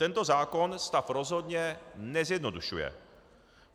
Tento zákon stav rozhodně nezjednodušuje.